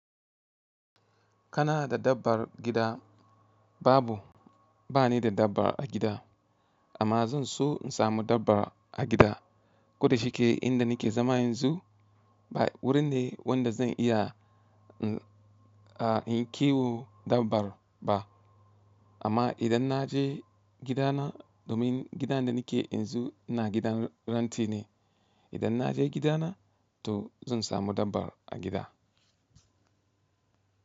Kana da dabbar gida? Babu, bani da dabba a gida amma zan so in samu dabba a gida. Koda shi ke inda nake zama yanzu ba wurin ne wanda zan iya in-a kiwo dabbar ba. Amma idan na je gidana domin gidan da nake yanzu ina gidan renti ne, idan na je gidana to zan samu dabba a gida.